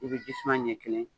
I bɛ jisuma ɲɛ kelen